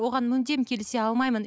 оған мүлдем келісе алмаймын